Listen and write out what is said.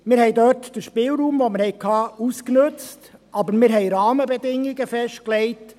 Wir haben dort den Spielraum, den wir hatten, ausgenutzt, haben Rahmendbedingungen festgelegt.